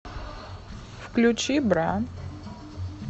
включи бра